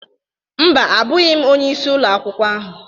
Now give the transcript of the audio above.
Mba, abụghị m onye isi Ụlọ akwụkwọ ahụ